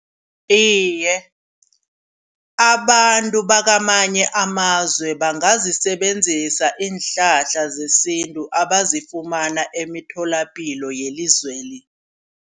Iye abantu bakwamanye amazwe bangazisebenzisa iinhlahla zesintu abazifumana emitholapilo yelizweli.